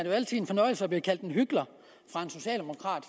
altid en fornøjelse at blive kaldt en hykler af en socialdemokrat